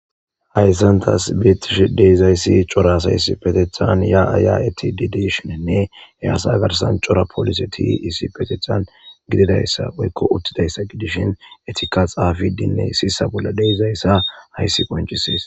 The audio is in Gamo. Hayssantas biitishe deizayssi cora sayss petethan ya aya eti dideshinenne e asa garsan cora polise ti issi petethan gididayssa woykko uttidayssa gidishin etika xaafidinne sisa bolla deizayssa hayssi qoncisiis.